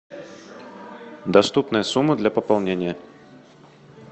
доступная сумма для пополнения